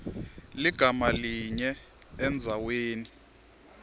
ligama linye endzaweni